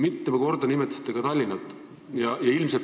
Mitu korda nimetasite ka Tallinna.